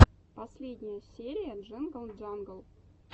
последняя серия джингл джангл